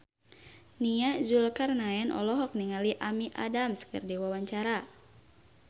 Nia Zulkarnaen olohok ningali Amy Adams keur diwawancara